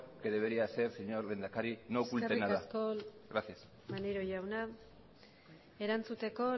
que debería ser señor lehendakari no oculte nada eskerrik asko maneiro jauna erantzuteko